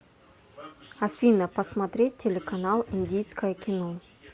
афина посмотреть телеканал индийское кино